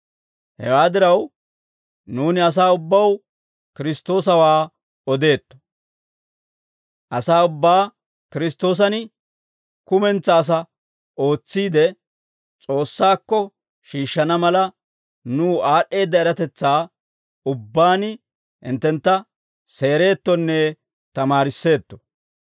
Hewaa diraw, nuuni asaa ubbaw Kiristtoosawaa odeetto; asaa ubbaa Kiristtoosan kumentsaa asaa ootsiide, S'oossaakko shiishshana mala, nuw aad'd'eedda eratetsaa ubbaan hinttentta seerettonne tamaarisseetto.